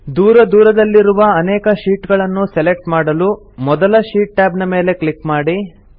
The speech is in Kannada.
ದೂರ ದೂರಲ್ಲಿರುವ ಅನೇಕ ಶೀಟ್ ಗಳನ್ನು ಸೆಲೆಕ್ಟ್ ಮಾಡಲು ಮೊದಲ ಶೀಟ್ ಟ್ಯಾಬ್ ನ ಮೇಲೆ ಕ್ಲಿಕ್ ಮಾಡಿ